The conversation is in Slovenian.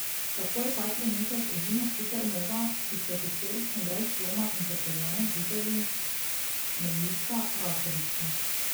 Tako je ta trenutek edina supernova, ki so jo historično brez dvoma in potrjeno videli, meglica Rakovica.